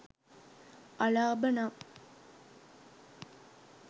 අලාබ නම්